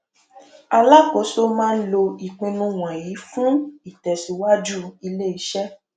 alákòóso máa lò ìpinnu wọnyí fún ìtẹsíwájú iléiṣẹ